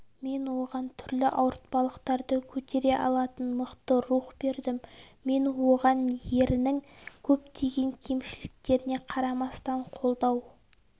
мен оған түрлі ауыртпалықтарды көтере алатын мықты рух бердім мен оған ерінің көптеген кемшіліктеріне қарамастан қолдау